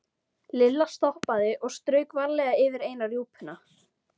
Lilla stoppaði og strauk varlega yfir eina rjúpuna.